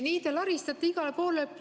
Nii te laristate igale poole.